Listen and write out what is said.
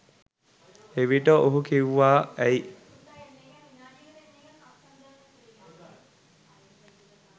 එවිට ඔහු කිව්වා ඇයි